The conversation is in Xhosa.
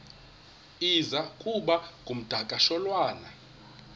iza kuba ngumdakasholwana